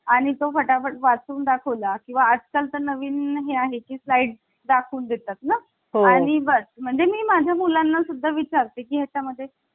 आणि तो फटाफट वाचून दाखवला किंवा असाल तर नवीन आहे ती फ्लाइट दाखवून देतात ना आणि मग म्हणजे मी माझ्या मुलांना सुद्धा विचार ते. त्याच्या मध्ये